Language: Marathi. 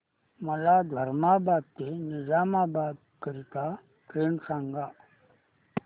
मला धर्माबाद ते निजामाबाद करीता ट्रेन सांगा